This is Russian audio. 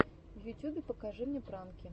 в ютюбе покажи мне пранки